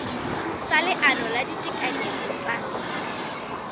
sa leano la ditekanyetso tsa